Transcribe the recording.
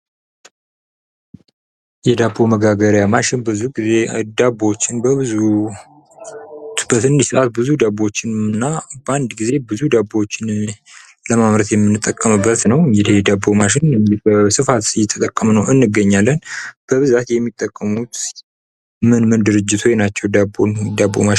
የዳቦ መጋገሪያ ማሽን ብዙ ግዜ ዳቦችን በብዙ በትንሽ ሰዓት ብዙ ዳቦችን እና በአንድ ግዜ ብዙ ዳቦዎችን ለማምረት የምንጠቀምበት ነው። እንግዲህ ይኽ የዳቦ ማሽን በስፋት እየተጠቀምንበት እንገኛለን። በብዛት የሚጠቀሙት ምን ምን ድርጅቶች ናቸው? ዳቦ ማሽንን